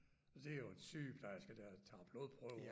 Det er jo en sygeplejerske der tager blodprøver